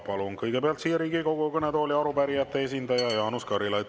Palun kõigepealt siia Riigikogu kõnetooli arupärijate esindaja Jaanus Karilaiu.